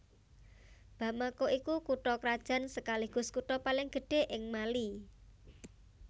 Bamako iku kutha krajan sekaligus kutha paling gedhé ing Mali